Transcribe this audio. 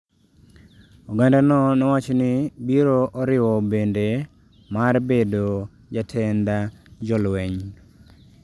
Ogandano nowacho ni biro oriwo bende mar bedo jatend jolweny.